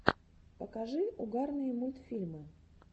покажи угарные мультфильмы